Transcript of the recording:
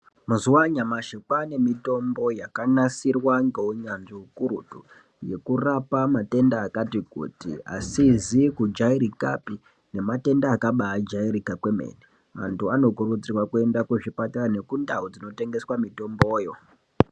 Mazuwa anyamashi kwaane mitombo yakanasirwa ngeunyanzvi ukurutu, yekurapa matenda akati kuti asizi kujairikapi, nematenda akabaajairika kwemene. Anthu anokurudzirwa kuenda kuzvipatara nekundau dzinotengeswa mitomboyo.